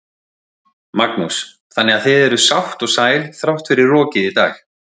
Magnús: Þannig að þið eruð sátt og sæl þrátt fyrir rokið í dag?